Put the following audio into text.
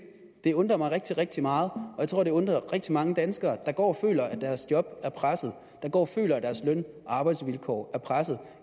det undrer mig rigtig rigtig meget og jeg tror det undrer rigtig mange danskere der går og føler at deres job er presset der går og føler at deres løn og arbejdsvilkår er pressede og